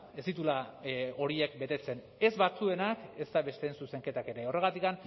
ez dituela horiek betetzen ez batzuenak ezta besteen zuzenketak ere horregatik